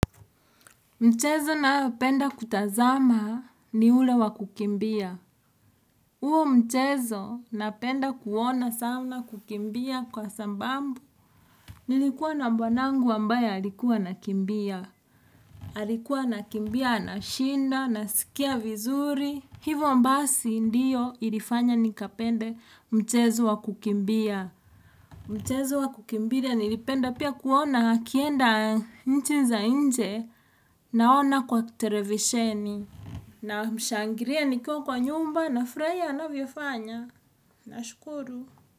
Mchezo nayopenda kutazama ni ule wa kukimbia. Huo mchezo napenda kuona sana kukimbia kwa sababu. Nilikuwa na bwanangu ambaye alikuwa anakimbia. Alikuwa anakimbia anashinda, nasikia vizuri. Hivo mbasi ndiyo ilifanya nikapende mchezo wa kukimbia. Mchezo wa kukimbia nilipenda pia kuona akienda nchi za inje naona kwa televisheni. Na mshangiria nikiwa kwa nyumba nafurahia anavyofanya. Nashukuru.